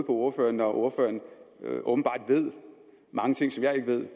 ordføreren når ordføreren åbenbart ved mange ting som jeg ikke ved